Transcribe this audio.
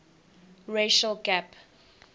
racial gap